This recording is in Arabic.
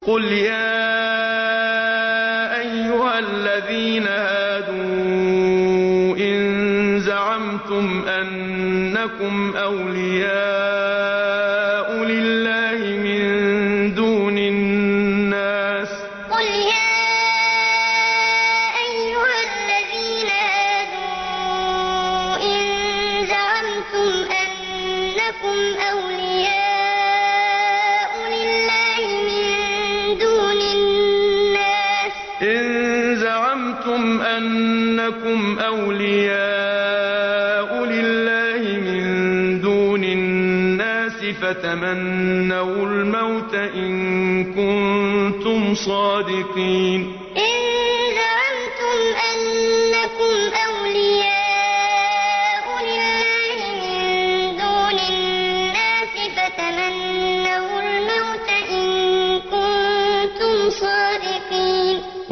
قُلْ يَا أَيُّهَا الَّذِينَ هَادُوا إِن زَعَمْتُمْ أَنَّكُمْ أَوْلِيَاءُ لِلَّهِ مِن دُونِ النَّاسِ فَتَمَنَّوُا الْمَوْتَ إِن كُنتُمْ صَادِقِينَ قُلْ يَا أَيُّهَا الَّذِينَ هَادُوا إِن زَعَمْتُمْ أَنَّكُمْ أَوْلِيَاءُ لِلَّهِ مِن دُونِ النَّاسِ فَتَمَنَّوُا الْمَوْتَ إِن كُنتُمْ صَادِقِينَ